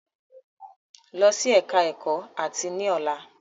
Lọ sí ẹka ẹ̀kọ́ áàtì ní ọ̀la!